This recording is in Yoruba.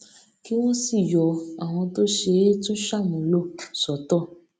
kí wón sì yọ àwọn tó ṣe é tún ṣàmúlò sọtọ